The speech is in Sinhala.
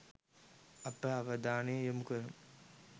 අප අවධානය යොමු කරමු.